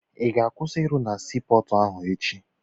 Ị ga-akwụsị ịrụ na sii pọọtụ ahụ echi?